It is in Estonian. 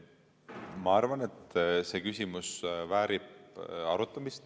Ma arvan, et see küsimus väärib arutamist.